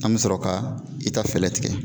An be sɔrɔ ka i ta fɛlɛ tigɛ.